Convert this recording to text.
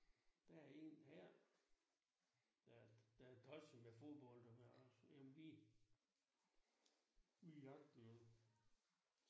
Der en Per. Der er der er tosset med fodbold og med os med men vi vi jagter jo